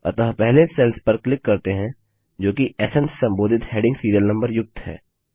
अतः पहले सेल्स पर क्लिक करते हैं जो कि स्न से संबोधित हैडिंग सीरियल नम्बर युक्त है